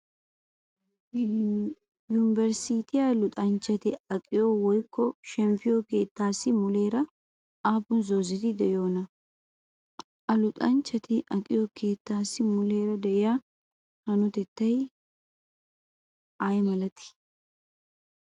Yuniberisttiyaa luxanchchati aqiyo woyykko shemppiyo keettaassi muleera aappun zoozeti de'iyoonaa? Ha luxanchchati aqqiyo keettaassi muleera de'iyaa hanotettayinne qottay ayi malatii?